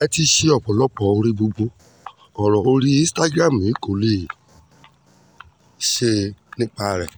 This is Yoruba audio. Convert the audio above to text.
ẹ ti ṣe ọ̀pọ̀lọpọ̀ oore gbogbo ọ̀rọ̀ orí instagram yìí kó lè tó láti sọ nípa rẹ̀